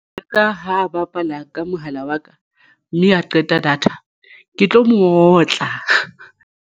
Ka ha bapala ka mohala wa ka mme a qeta data ke tlo mo otla.